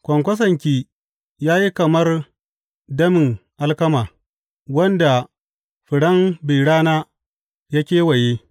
Kwankwasonki ya yi kamar damin alkama wanda furen bi rana ya kewaye.